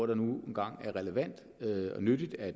det nu engang er relevant og nyttigt at